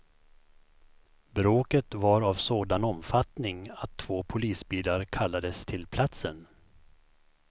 Bråket var av sådan omfattning att två polisbilar kallades till platsen.